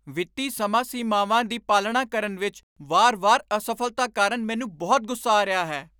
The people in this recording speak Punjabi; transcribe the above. ਵਿੱਤੀ ਸਮਾਂ ਸੀਮਾਵਾਂ ਦੀ ਪਾਲਣਾ ਕਰਨ ਵਿੱਚ ਵਾਰ ਵਾਰ ਅਸਫ਼ਲਤਾ ਕਾਰਨ ਮੈਨੂੰ ਬਹੁਤ ਗੁੱਸਾ ਆ ਰਿਹਾ ਹੈ